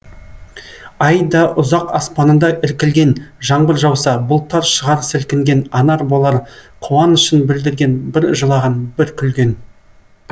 ай да ұзақ аспанында іркілген жаңбыр жауса бұлттар шығар сілкінген анам болар қуанышын білдірген бір жылаған бір күлген